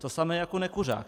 To samé jako nekuřák.